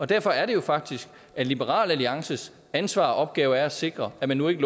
derfor er det faktisk liberal alliances ansvar og opgave at sikre at man nu ikke